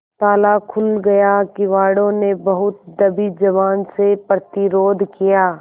ताला खुल गया किवाड़ो ने बहुत दबी जबान से प्रतिरोध किया